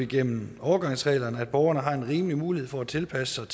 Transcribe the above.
gennem overgangsreglerne at borgerne har en rimelig mulighed for at tilpasse